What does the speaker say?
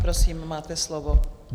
Prosím, máte slovo.